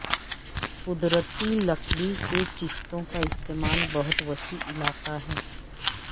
قدرتی لکڑی کے چیسٹوں کا استعمال بہت وسیع علاقہ ہے